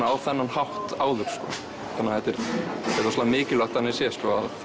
á þennan hátt áður þannig að þetta er rosalega mikilvægt þannig séð